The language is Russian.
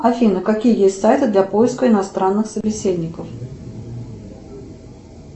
афина какие есть сайты для поиска иностранных собеседников